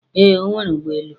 Ee, o nwere ụgbọ elu